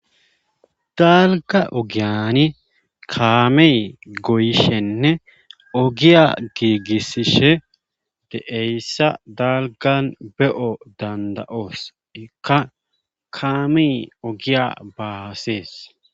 dalga ogiyani kaami goyishenne ogiya giigisishe de7eyssa dalgan be7o danda7oos ikka kaami ogiya baasees